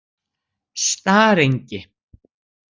Starengi